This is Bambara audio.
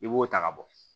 I b'o ta ka bɔ